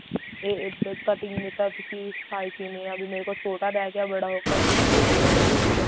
ਇਹ ਅਹ cutting ਦਾ ਤੁਸੀਂ ਤਾਂ ਸਿਖਾਈ ਕਿਵੇਂ ਆ ਵੀ ਮੇਰੇ ਕੋਲੋਂ ਛੋਟਾ ਰਿਹ ਗਿਆ ਬੜਾ ਹੋ ਗਿਆ ਇੱਧਰੋਂ ਹਿੱਲ ਗਿਆ ਉਧਰੋਂ ਹਿੱਲ ਗਿਆ